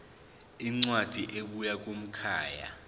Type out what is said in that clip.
incwadi ebuya kumkhakha